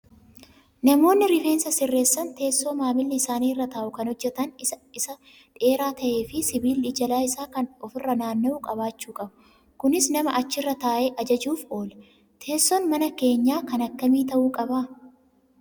Namoonni rifeensa sirreessan teessoo maamilli isaanii irra taa'u kan hojjatan isaa dheeraa ta'ee fi sibiilli jala isaa kan ofirra naanna'u qabaachuu qabu. Kunis nama achirra taa'e ajajuuf oola. Teessoon mana keenyaa kan akkami ta'uu qabaa?